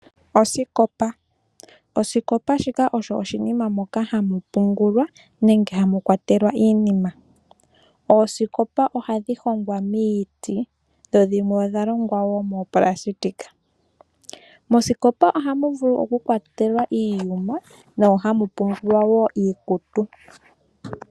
Osikopa, shika oshinima moka hamu pungulwa nenge hamu kwatelwa iinima. Oosikopa ohadhi hongwa miiti, dho dhimwe odha longwa wo moonayilona. Mosikopa ohamu vulu okukwatelwa iiyuma, mo ohamu pungulwa wo iikutu.